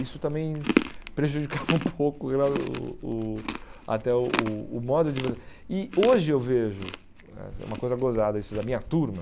Isso também prejudicava um pouco eu o o o até o modo de você... E hoje eu vejo, é uma coisa gozada isso da minha turma,